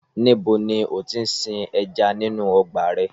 Níbo ni ó ti ń sin ẹja nínú ọgbà rẹ?